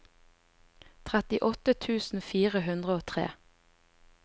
trettiåtte tusen fire hundre og tre